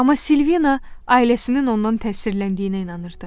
Amma Silvina ailəsinin ondan təsirləndiyinə inanırdı.